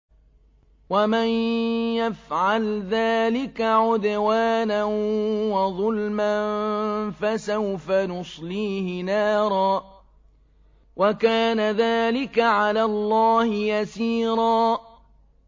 وَمَن يَفْعَلْ ذَٰلِكَ عُدْوَانًا وَظُلْمًا فَسَوْفَ نُصْلِيهِ نَارًا ۚ وَكَانَ ذَٰلِكَ عَلَى اللَّهِ يَسِيرًا